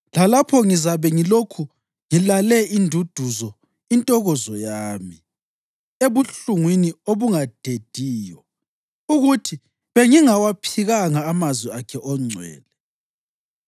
Lalapho ngizabe ngilokhu ngilale induduzo intokozo yami ebuhlungwini obungadediyo, ukuthi bengingawaphikanga amazwi akhe oNgcwele.